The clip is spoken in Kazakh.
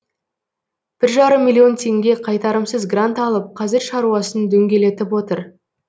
бір жарым миллион теңге қайтарымсыз грант алып қазір шаруасын дөңгелетіп отыр